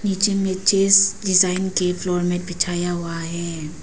नीचे में chess design के फ्लोर मैट बिछाया हुआ है।